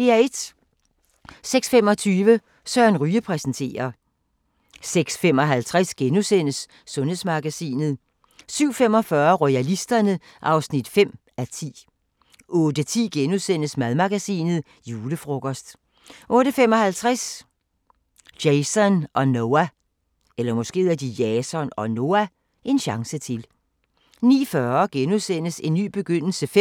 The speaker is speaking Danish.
06:25: Søren Ryge præsenterer 06:55: Sundhedsmagasinet * 07:45: Royalisterne (5:10) 08:10: Madmagasinet: Julefrokost * 08:55: Jason og Noah – en chance til 09:40: En ny begyndelse V